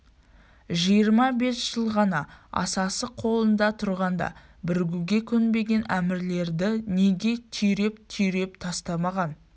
жиырма бес жыл хан асасы қолында тұрғанда бірігуге көнбеген әмірлерді неге түйреп-түйреп тастамаған